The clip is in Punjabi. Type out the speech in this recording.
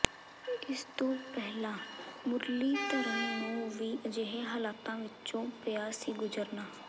ਇਸ ਤੋਂ ਪਹਿਲਾਂ ਮੁਰਲੀਧਰਨ ਨੂੰ ਵੀ ਅਜਿਹੇ ਹਾਲਾਤਾਂ ਵਿਚੋਂ ਪਿਆ ਸੀ ਗੁਜ਼ਰਨਾ